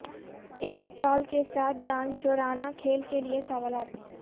ایک چال کے ساتھ دانشورانہ کھیل کے لئے سوالات